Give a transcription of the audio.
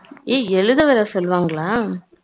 ஏய் எதுத வேற சொல்லுவாங்களா